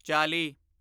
ਚਾਲੀ